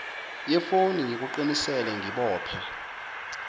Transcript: yefoni ngikuqinise ngibophe